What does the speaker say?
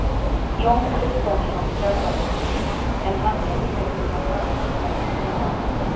Jón Kristjánsson þjálfar okkur en hann hefur verið hjá Hamar síðustu þrjú árin.